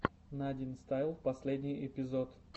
надинстайл последний эпизод